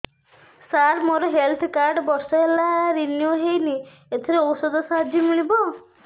ସାର ମୋର health card ବର୍ଷେ ହେଲା ରିନିଓ ହେଇନି ଏଥିରେ ଔଷଧ ସାହାଯ୍ୟ ମିଳିବ